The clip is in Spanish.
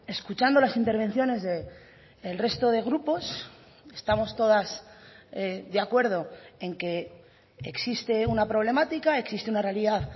escuchando las intervenciones del resto de grupos estamos todas de acuerdo en que existe una problemática existe una realidad